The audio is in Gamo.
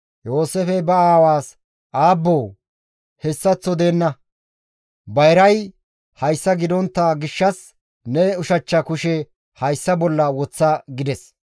Yooseefey ba aawaas, «Aabboo hessaththo deenna! Bayray hayssa gidontta gishshas ne ushachcha kushe hayssa bolla woththa» gides.